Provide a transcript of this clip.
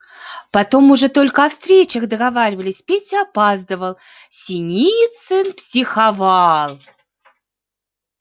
потом уже только о встречах договаривались петя опаздывал синицын психовал